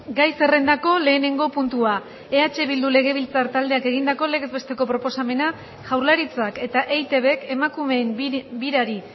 gai zerrendako lehenengo puntua eh bildu legebiltzar taldeak egindako legez besteko proposamena jaurlaritzak eta eitbk emakumeen birari